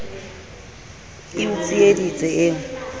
e o tsieditse e o